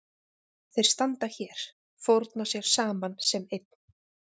Þeir standa hér, fórna sér saman sem einn.